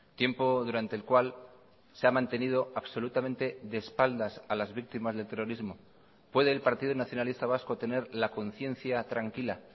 tiempo durante el cual se ha mantenido absolutamente de espaldas a las víctimas del terrorismo puede el partido nacionalista vasco tener la conciencia tranquila